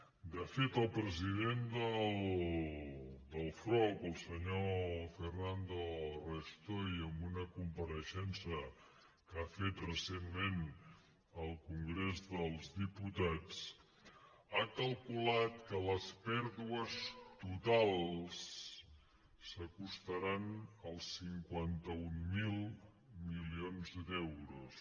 de fet el president del frob el senyor fernando restoy en una compareixença que ha fet recentment al congrés dels diputats ha calculat que les pèrdues totals s’acostaran als cinquanta mil milions d’euros